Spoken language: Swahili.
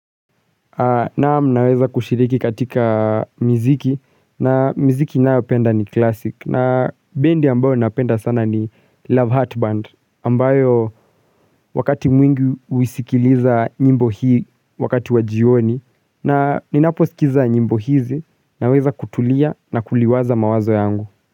Nam naweza kushiriki katika mziki na mziki ninayopenda ni klasik na bendi ambayo napenda sana ni Love Heart Band ambayo wakati mwingi huisikiliza nyimbo hii wakati wa jioni na ninapo sikiza nyimbo hizi naweza kutulia na kuliwaza mawazo yangu.